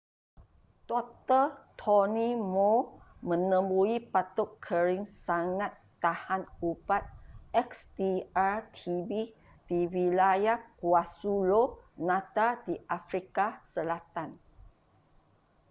dr. tony moll menemui batuk kering sangat tahan ubat xdr-tb di wilayah kwazulu-natal di afrika selatan